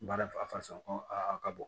Baara fasa ko a ka bɔ